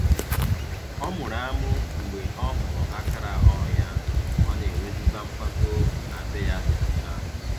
Ọ mụrụ amụ mgbe ọ hụrụ akara ọrụ ya, ọ na-enwezikwa mpako na be ya dị ọcha.